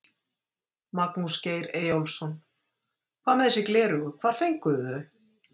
Magnús Geir Eyjólfsson: Hvað með þessi gleraugu, hvar fenguð þið þau?